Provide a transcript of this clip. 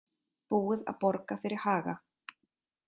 Búið að borga fyrir Haga